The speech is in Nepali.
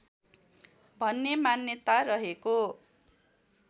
भन्ने मान्यता रहेको